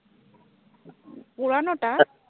পুরানোটা